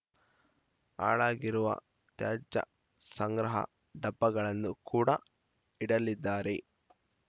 ಹಾಳಾಗಿರುವ ತ್ಯಾಜ್ಯ ಸಂಗ್ರಹ ಡಬ್ಬಗಳನ್ನು ಕೂಡ ಇಡಲಿದ್ದಾರೆ